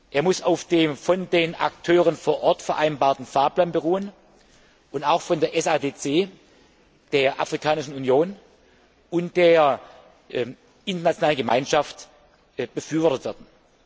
Er muss auf dem von den Akteuren vor Ort vereinbarten Fahrplan beruhen und auch von der SADC, der Afrikanischen Union und der internationalen Gemeinschaft befürwortet werden.